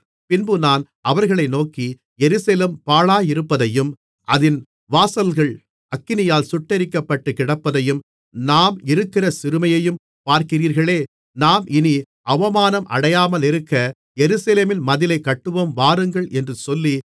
பின்பு நான் அவர்களை நோக்கி எருசலேம் பாழாயிருப்பதையும் அதின் வாசல்கள் அக்கினியால் சுட்டெரிக்கப்பட்டுக்கிடப்பதையும் நாம் இருக்கிற சிறுமையையும் பார்க்கிறீர்களே நாம் இனி அவமானம் அடையாமலிருக்க எருசலேமின் மதிலைக் கட்டுவோம் வாருங்கள் என்று சொல்லி